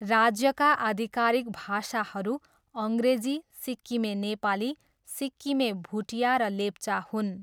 राज्यका आधिकारिक भाषाहरू अङ्ग्रेजी, सिक्किमे नेपाली, सिक्किमे भुटिया र लेप्चा हुन्।